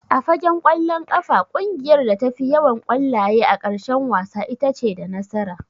A fagen ƙwallon ƙafa ƙungiyar da ta fi yawan ƙwallaye a ƙarshen wasa itace da nasara.